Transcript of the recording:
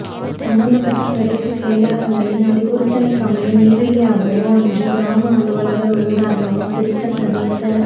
சம்பந்தப்பட்ட பிரதேச செயலகங்களின் அறிவுறுத்தலுக்கமைய நேரடியாகவோ அன்றி கிராம அலுவலர் ஊடாகவோ குறித்த பிரதேச